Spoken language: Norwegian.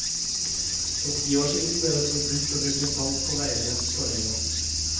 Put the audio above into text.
For ti år siden ble det forbudt å bruke salt på veiene på øya.